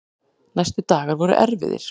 Næstu dagar voru erfiðir.